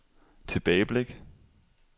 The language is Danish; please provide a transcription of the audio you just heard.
tilbageblik